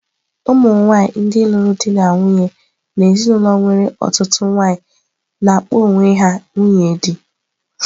Ụmụ nwanyị ndị lụrụ di na nwunye n'ezinụlọ nwere ọtụtụ nwanyị na-akpọ ha onwe ha nwunye dị.